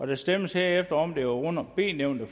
der stemmes herefter om det under b nævnte